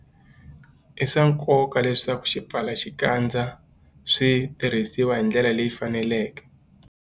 I swa nkoka leswaku swipfalaxikandza swi tirhisiwa hi ndlela leyi faneleke.